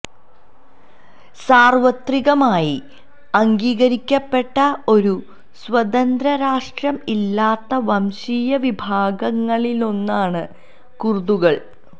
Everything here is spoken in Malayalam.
സാർവത്രികമായി അംഗീകരിക്കപ്പെട്ട ഒരു സ്വതന്ത്ര രാഷ്ട്രം ഇല്ലാത്ത വംശീയ വിഭാഗങ്ങളിലൊന്നാണ് കുർദുകൾ